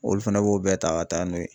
Olu fɛnɛ b'o bɛɛ ta ga taa n'o ye